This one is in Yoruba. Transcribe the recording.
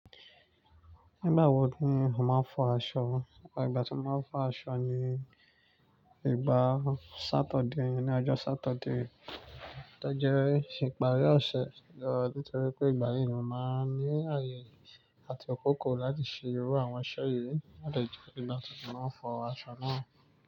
Nígbà wo ni ó máa ń fọ aṣọ? Ẹ̀ igbà tí mo máa ń fọ aṣọ ni ìgbà Saturday, ni ọjọ́ Saturday tó jẹ́ ìparí ọ̀sẹ̀. Nítorí pé ìgbà yìí ni mo máa ń ní ààyè àti akọkọ láti ṣe irú àwọn iṣẹ́ yìí. Ó jẹ́ ìgbà tí mo máa ń fọ aṣọ náà.